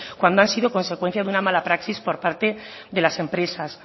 cuando han sido consecuencia de una mala praxis por parte de las empresas